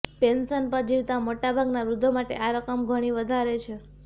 pension પર જીવતા મોટા ભાગના વૃધ્ધો માટે આ રકમ ઘણી વધારે છે